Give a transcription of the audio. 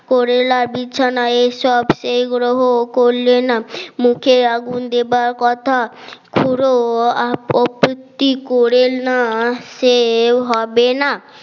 করেলা বিছানা এসব সেই গ্রহ করলে না মুখে আগুন দেবার কথা খুড়ো আপত্তি করে না সেও হবে না